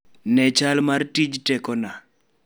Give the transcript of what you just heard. Ne chal mar tij tekona